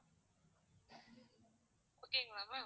okay ங்களா ma'am